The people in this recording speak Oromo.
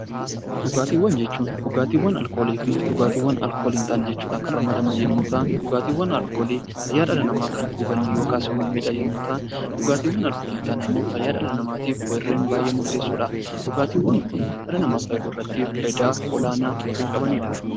Dhugaatiiwwan jechuun dhugaatiiwwan alkoolii fi dhugaatiiwwan alkoolii hin taane jechuudhaan kan ramadaman yommuu ta'an, dhugaatiiwwan alkoolii fayyaa dhala namaa kan huban (miidha) yommuu ta'an, dhugaatiiwwan alkoolii hin taane immoo fayyaa dhala namaatiif warreen baay'ee murteessoo dha. Dhugaatiiwwan kun dhala namaa fayyaduu irratti warreen faayidaa olaanaa qabanii dha.